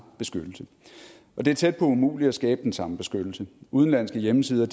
beskyttelse og det er tæt på umuligt at skabe den samme beskyttelse udenlandske hjemmesider